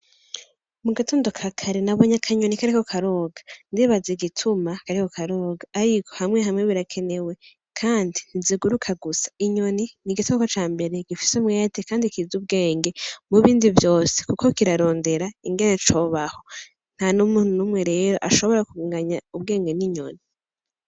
Mu gatondo ka kare na bonyakanyoni kareko karoga ndibaza igituma kareko ka roga, ariko hamwe hamwe birakenewe, kandi ntiziguruka gusa inyoni ni igitoko ca mbere gifise mweyate, kandi kiza ubwenge mu bindi vyose, kuko kirarondera ingene cobaho nta n'umuntu n'umwe rero ashobora kugunganya ubwenge n'inyo.